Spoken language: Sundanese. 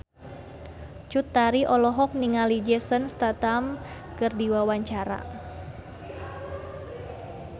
Cut Tari olohok ningali Jason Statham keur diwawancara